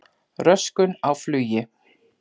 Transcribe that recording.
Röskun á flugi